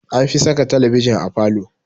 Anfi saka talabijin a falo.